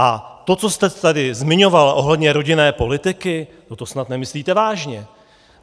A to, co jste tady zmiňovala ohledně rodinné politiky - no to snad nemyslíte vážně!